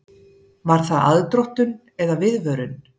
Var það aðdróttun eða viðvörun?